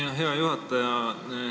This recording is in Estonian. Aitäh, hea juhataja!